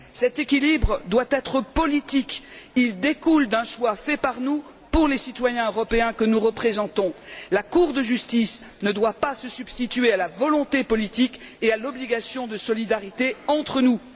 Cet équilibre doit être politique. Il découle d'un choix fait par nous pour les citoyens européens que nous représentons. La Cour de justice ne doit pas se substituer à la volonté politique et à l'obligation de solidarité entre nous.